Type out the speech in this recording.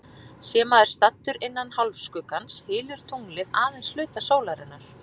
Sé maður staddur innan hálfskuggans, hylur tunglið aðeins hluta sólarinnar.